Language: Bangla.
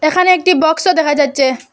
এখানে একটি বক্সও দেখা যাচ্চে।